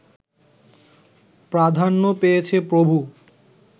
প্রাধান্য পেয়েছে প্রভু